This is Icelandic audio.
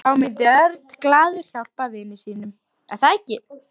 Þá myndi Örn glaður hjálpa vini sínum.